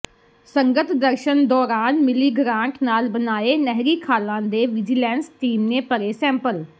ਸੰਗਤ ਦਰਸ਼ਨ ਦੌਰਾਨ ਮਿਲੀ ਗਰਾਂਟ ਨਾਲ ਬਣਾਏ ਨਹਿਰੀ ਖਾਲ਼ਾਂ ਦੇ ਵਿਜੀਲੈਂਸ ਟੀਮ ਨੇ ਭਰੇ ਸੈਂਪਲ